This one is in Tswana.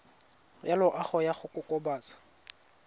ya loago ya go kokobatsa